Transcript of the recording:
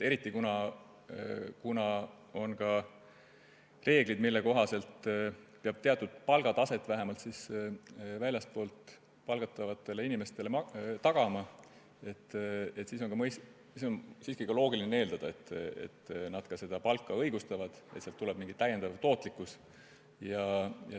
Kuna on reeglid, mille kohaselt peab väljastpoolt palgatavate inimeste puhul tagama teatud palgataseme, siis on loogiline eeldada, et nad seda palka õigustavad ja toovad kaasa täiendava tootlikkuse.